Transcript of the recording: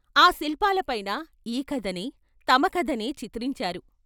ఆ శిల్పాలపైన ఈ కథనే, తమ కథనే చిత్రించారు.